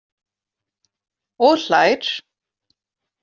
Og hlær.